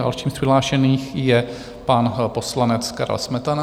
Dalším z přihlášených je pan poslanec Karel Smetana.